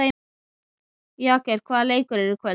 Jagger, hvaða leikir eru í kvöld?